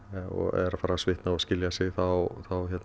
er farið að svitna og skilja sig þá